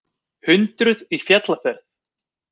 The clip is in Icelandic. Hundruð í fjallaferð